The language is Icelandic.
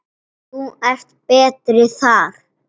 Þú ert betri þar.